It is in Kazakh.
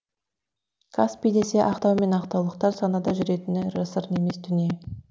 каспий десе ақтау мен ақтаулықтар санада жүретіні жасырын емес дүние